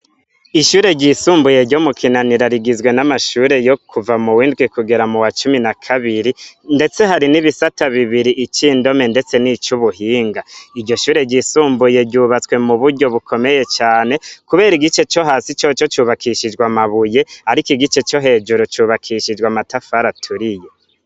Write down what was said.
Ishure ry'isumbuye ryo mu kinanira rigizwe n'amashure yo kuva muw'indwi kugera muwa cumi na kabiri ndetse hari ibisata bibiri icindome ndetse ni cubuhinga iryo shure ry'isumbuye ryubatswe mu buryo bukomeye cane kubera igice co hasi coco cubakishijwe amabuye ariko igice co hejuru cubakishijwe amatafari aturiye.